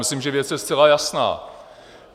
Myslím, že věc je zcela jasná.